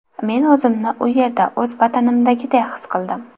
Men o‘zimni u yerda o‘z vatanimdagiday his qildim.